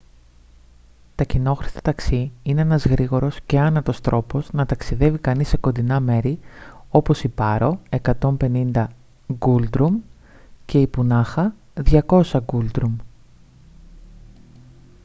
τα κοινόχρηστα ταξί είναι ένας γρήγορος και άνετος τρόπος να ταξιδεύει κανείς σε κοντινά μέρη όπως η πάρο 150 νγκούλτρουμ και η πουνάχα 200 νγκούλτρουμ